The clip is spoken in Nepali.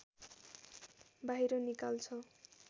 बाहिर निकाल्छ